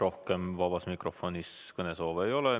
Rohkem vabas mikrofonis kõnesoove ei ole.